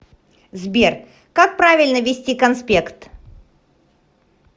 сбер как правильно вести конспект